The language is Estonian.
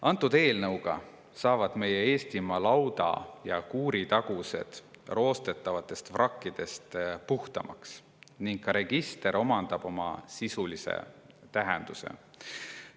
Antud eelnõuga saavad meie Eestimaa lauda‑ ja kuuritagused roostetavatest vrakkidest puhtamaks ning ka register omandab oma sisulise tähenduse.